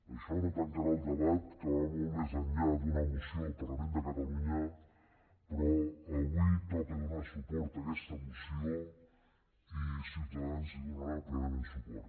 això no tancarà el debat que va molt més enllà d’una moció al parlament de catalunya però avui toca donar suport a aquesta moció i ciutadans hi donarà plenament suport